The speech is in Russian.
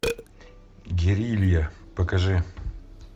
герилья покажи